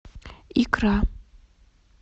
икра